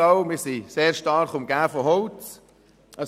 Auch hier im Grossratssaal sind wir stark von Holz umgeben.